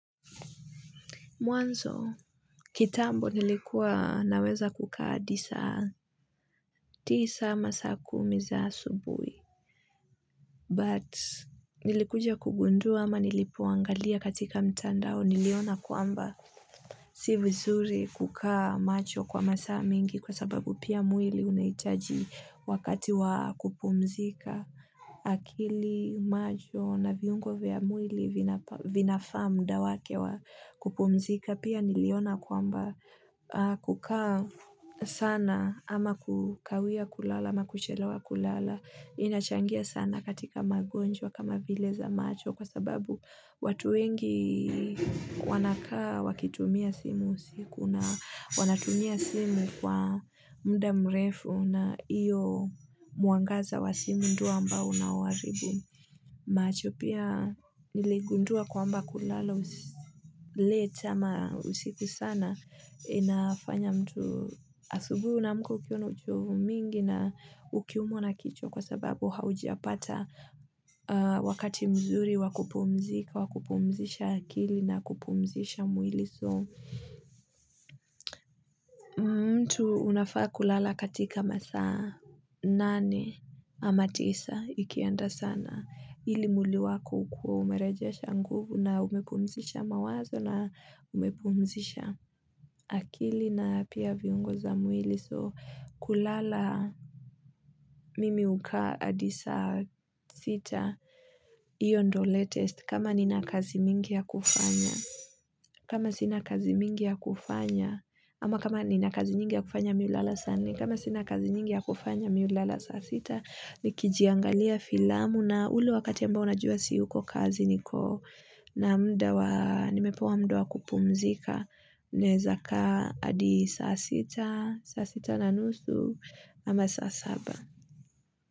Mwanzo, kitambo nilikuwa naweza kukaa hadi saa, tisa ama saa kumi za asubuhi. But, nilikuja kugundua ama nilipoangalia katika mtandao, niliona kwamba si vizuri kukaa macho kwa masaa mingi kwa sababu pia mwili unahitaji wakati wa kupumzika. Akili macho na viungo vya mwili vinafaa muda wake wa kupumzika. Pia niliona kwamba kukaa sana ama kukawia kulala na kuchelewa kulala inachangia sana katika magonjwa kama vile za macho kwa sababu watu wengi wanakaa wakitumia simu usiku na wanatumia simu kwa muda mrefu na hiyo mwangaza wa simu ndiyo ambao unaowaharibu macho. Pia niligundua kwamba kulala late ama usiku sana inafanya mtu, asubuhi unaamka ukiwa na uchovu mwingi na ukiumwa na kichwa kwa sababu haujapata wakati mzuri wa kupumzika wa kupumzisha akili na kupumzisha mwili, so. Mtu unafaa kulala katika masaa nane ama tisa ikienda sana. Ili mwili wako ukuwe umerejesha nguvu na umepumzisha mawazo na umepumzisha akili na pia viungo za mwili so kulala mimi huka hadi saa sita, hiyo ndiyo latest kama nina kazi mingi ya kufanya kama sina kazi mingi ya kufanya, ama kama nina kazi nyingi ya kufanya mi hulala saa nne, kama sina kazi nyingi ya kufanya mi hulala saa sita, nikijiangalia filamu na ule wakati ambao najua siyuko kazi niko na muda wa, nimepewa muda wa kupumzika, naweza kaa hadi saa sita, saa sita na nusu, ama saa saba.